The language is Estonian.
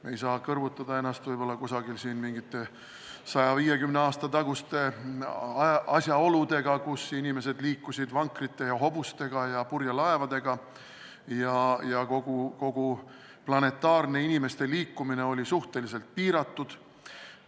Me ei saa kõrvutada ennast mingite 150 aasta taguste asjaoludega, inimesed liikusid siis vankrite, hobuste ja purjelaevadega ja kogu planetaarne inimeste liikumine oli suhteliselt piiratud.